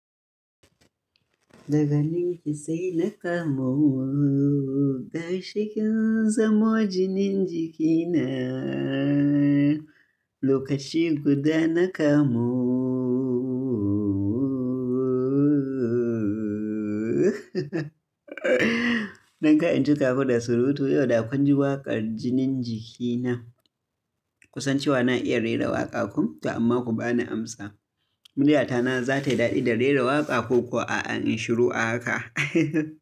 Daga nin ki sai na kamu, ga shikin zamo jinin jikina. Lokaci guda na kamu. Don ka in cika ku da surutu, yau da kun ji waƙar jinin jiki na. Kusan cewa na iya rera waƙa ko, to amma ku bani amsa. Murya ta na za ta yi daɗi da rera waƙa ko kuwa in shiru a haka.